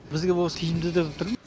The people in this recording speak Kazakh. бізге ол тиімді деп тұрм